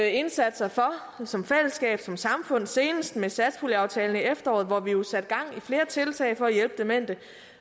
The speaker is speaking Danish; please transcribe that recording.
indsatser for som fællesskab som samfund senest med satspuljeaftalen i efteråret hvor vi jo satte gang i flere tiltag for at hjælpe demente